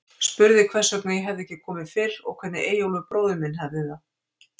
Spurði hvers vegna ég hefði ekki komið fyrr, og hvernig Eyjólfur bróðir minn hefði það.